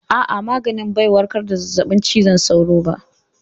A'a, maganin bai warkar da zazzabin cizon sauro ba.